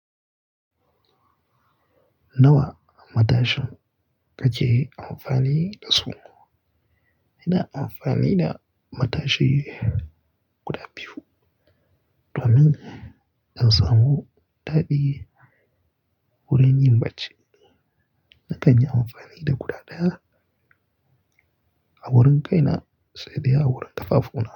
Nawa matashin ka ke amfani da su? Ina amfani da matashi guda biyu domin in samu daɗi wurin yin bacci. Nakan yi amfani da guda ɗaya a wurin kaina sai dai a wurin ƙafafu na.